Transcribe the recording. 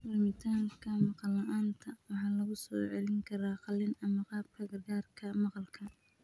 Lumitaanka maqal la'aanta waxaa lagu soo celin karaa qalliin ama qalabka gargaarka maqalka.